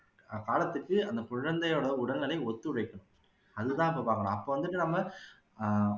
காலத்துக்கு அந்த குழந்தையோட உடல்நிலை ஒத்துழைக்கும் அது தான் அப்போ பாக்கணும் அப்போ வந்துட்டு நாம ஆஹ்